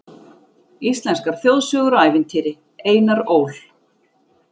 Íslenskar þjóðsögur og ævintýri, Einar Ól.